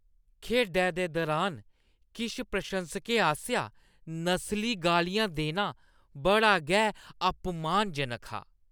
खेढै दे दुरान किश प्रशंसकें आसेआ नस्ली गालियां देना बड़ा गै अपमानजनक हा।